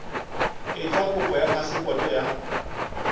etsa kopo ya phasepoto ya